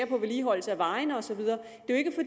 på vedligeholdelsen af vejene og så videre